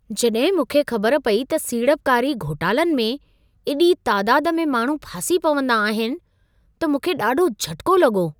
जॾहिं मूंखे ख़बर पई त सीड़पकारी घोटालनि में एॾी तादाद में माण्हू फासी पवंदा आहिनि, त मूंखे ॾाढो झटिको लॻो।